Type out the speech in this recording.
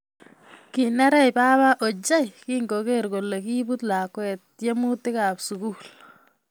Kinereech baba ochei kingogeer kole kibuut lakwet tyemutika kab sugul